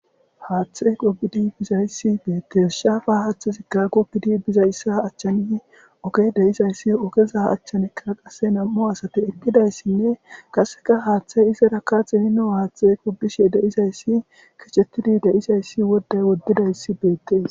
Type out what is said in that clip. Hathi qogidi bizayssi bettes shafa hathay gogidi bidays ogey dizaysi ogezza achan qasi nam'u asati eqidaysinne qase hathay izara xinino hathay gogishe deyzayssi krchetidi deyzaysi woday wodidayssi bettes.